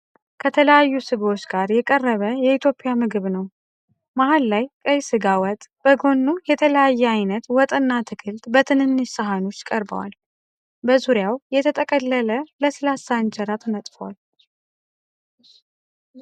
ከተለያዩ ስጎዎች ጋር የቀረበ የኢትዮጵያ ምግብ ነው። መሃል ላይ ቀይ ሥጋ ወጥ፣ በጎኑ የተለያየ ዓይነት ወጥና አትክልት በትንንሽ ሳህኖች ቀርበዋል። በዙሪያው የተጠቀለለ ለስላሳ እንጀራ ተነጥፏል።